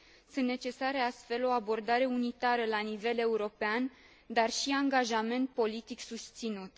Sunt necesare, astfel, o abordare unitară la nivel european, dar și angajament politic susținut.